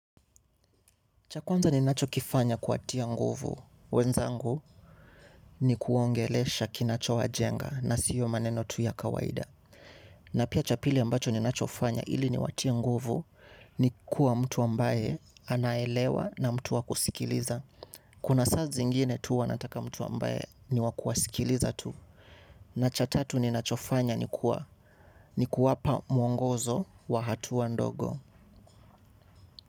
Chakwanza ni nacho kifanya kuatia nguvu. Wenzangu ni kuongele sha kinacho wa jenga na siyo maneno tuya kawaida. Na pia chapili ambacho ni nachofanya ili ni watia nguvu ni kuwa mtu ambaye anaelewa na mtu wa kusikiliza. Kuna sa zingine tu wanataka mtu ambaye ni wakuwa sikiliza tu. Na cha tatu ni nachofanya ni kuwa pa mwongozo wa hatu wa ndogo.